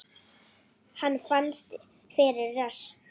Hann fannst fyrir rest!